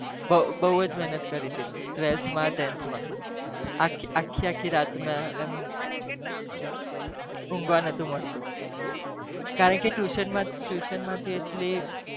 બવ મેહનત કરી twelfth મી આખી આખી રાત ઉગવા નતું મળ્યું કારણક tution